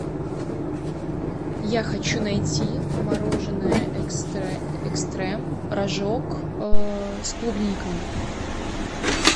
я хочу найти мороженое экстрем рожок с клубникой